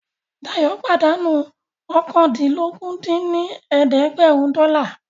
Dayọ̀ pàdánù oókàndínlógún dín ní ẹ̀ẹ́dẹ́gbẹ́rún dọ́là